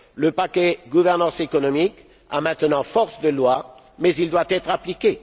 Le paquet gouvernance économique a maintenant force de loi mais il doit être appliqué.